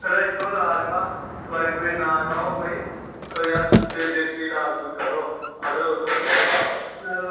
ਇਹਦਾ ਇਕੋ ਇਲਾਜ ਵਾ ਦਵਾਈ ਦਉਈ ਨਾ ਖਾਓ ਕੋਈ ਕੋਈ ਯਾਰ ਤੇ ਦੇਸੀ ਇਲਾਜ ਇਲੁਜ ਕਰੋ ਅਦਰਕ ਉਦਰਕ ਖਾਓ